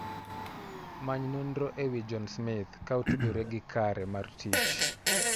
Many nonro ewi John Smith ka otudore gi kare mar tich.